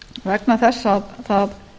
vegna þess að það